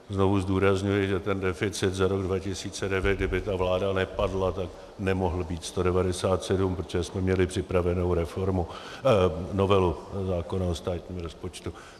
Znovu zdůrazňuji, že ten deficit za rok 2009, kdyby ta vláda nepadla, tak nemohl být 197, protože jsme měli připravenou novelu zákona o státním rozpočtu.